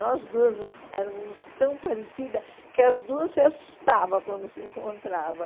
Nós duas éramos tão parecidas que as duas se assustavam quando se encontrava.